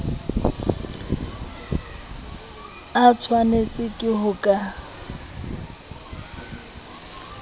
a tshwanetswe ke ho ka